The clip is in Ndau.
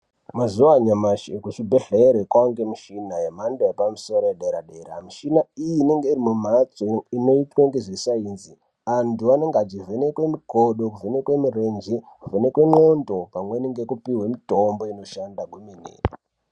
Mqzuwa anyamashi ekuchibhedhlere kwaangemishina yemhando yepamusoro dera-dera, mishina iyi inonga iri mumphatso inoitwa ngezvesainzi. Anthu anenge achivhenekwe mikodo, kuvhenekwe mirenje, kuvhenekwe ndxondo pamweni ngekupihwe mitombo inoshanda kwemene.